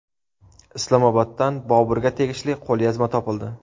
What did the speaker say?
Islomoboddan Boburga tegishli qo‘lyozma topildi.